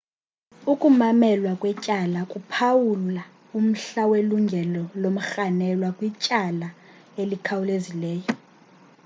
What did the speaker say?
ukumamelwa kwetyala kuphawula umhla welungelo lomrhanelwa kwityala elikhawulezileyo